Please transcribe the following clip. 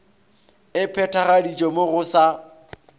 e phethagaditšwe mo go sa